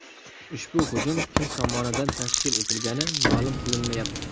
Ushbu hujum kim tomonidan tashkil etilgani ma’lum qilinmayapti.